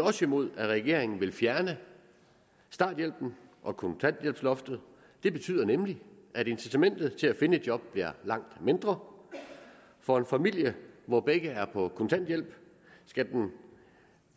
også imod at regeringen vil fjerne starthjælpen og kontanthjælpsloftet det betyder nemlig at incitamentet til at finde et job bliver langt mindre for en familie hvor begge voksne er på kontanthjælp skal man